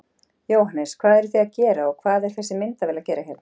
Jóhannes: Hvað eruð þið að gera og hvað er þessi myndavél að gera hérna?